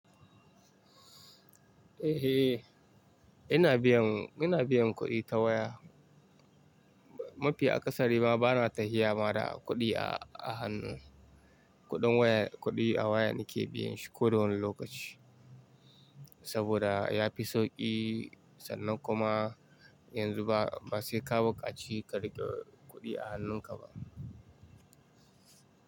Eh, ina biyan, ina biyan kuɗi ta waya. Mafi akasari ma bana tafiya ma da kuɗi a hannu. Kuɗin waya, kuɗi a waya nake biyanshi ko da wani lokaci. Saboda yafi sauƙi sannan kuma yanzu ba, ba sai ka bukaci ka rike kuɗi a hannunka ba.